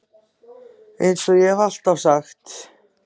Eins og ég hef alltaf sagt.